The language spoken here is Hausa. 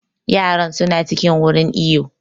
Yaran su na cikin wurin iwo